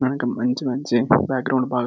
వెనక మంచి మంచి బ్యాగ్రౌండ్ బాగా --